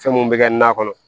Fɛn mun bɛ kɛ na kɔnɔ